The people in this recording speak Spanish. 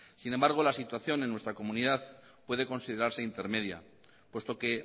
sin embargo la situación en nuestra comunidad puede considerarse intermedia puesto que